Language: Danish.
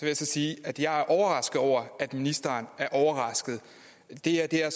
jeg så sige at jeg er overrasket over at ministeren er overrasket det her